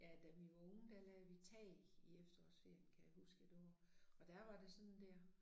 Ja da vi var unge der lagde vi tag i efterårsferien kan jeg huske det var og der var de sådan dér